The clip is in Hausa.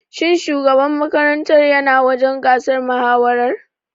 Shin shugaban makarantar ya na wajen gasar mahawarar?